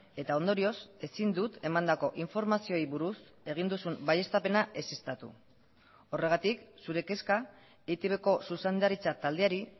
eta ondorioz ezin dut emandako informazioei buruz egin duzun baieztapena ezeztatu horregatik zure kezka eitbko zuzendaritza taldeari